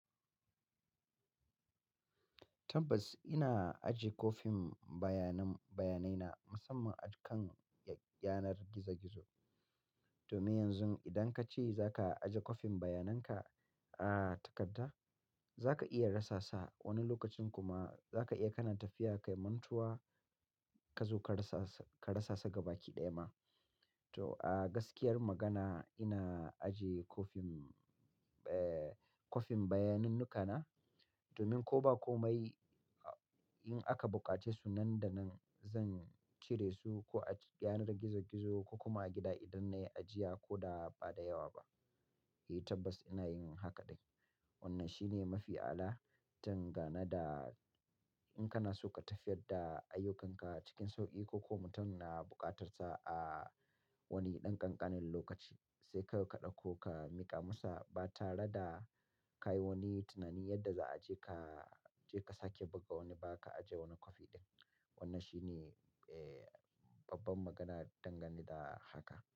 Tabbas ina ajiye kwafin bayanan bayanai na musamman akan yanar gizo gizo. Domin yanzu idan ka ce za ka ajiye kwafin bayanan ka a takarda, za ka iya rasa sa wani lokacin kuma za ka iya kanana tafiya kai mantuwa ka zo ka rasa sa gaba ki ɗaya ma. To a gaskiyar magana ina ajiye kwafin, eh kwafin bayanin ni ka na domin ko ba komai in aka buƙace su nan da nan zan cire su ko a yanar gizo gizo ko kuma a gida idan na yi ajiya ko da ba da yawa ba. Eh tabbas ina yin haka dai. Wannan shine mafi ala tangana da in kana so ka tafiyar da ayyukanka cikin sauƙi ko kuma mutum na buƙatar sa a wani ɗan ƙanƙanen lokaci sai kawai ka ɗauko ka miƙa masa ba tare da ka yi wani tunani yadda za a je ka, je ka sake buga wani ba ka ajiye wani kwafi ɗin. Wannan shine eh babban magana dangane da haka.